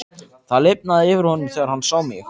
Það lifnaði yfir honum þegar hann sá mig.